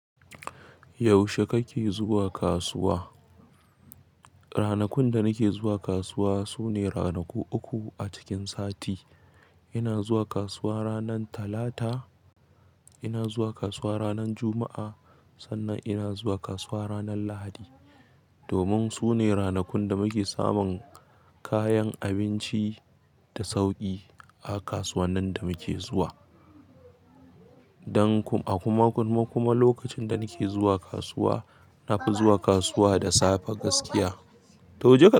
Yaushe kake zuwa kasuwa? Ranakun da nake zuwa kasuwa sune ranaku uku a cikin sati. Ina zuwa kasuwa ranar Talata, ina zuwa kasuwa ranar Juma'a, sannan ina zuwa kasuwa ranar Lahadi. Domin su ne ranakun da muke samun kayan abinci da sauƙi a kasuwannin da muke zuwa. Dan kuma lokacin da nake zuwa kasuwa, na fi zuwa kasuwa da safe gaskiya. To jeka.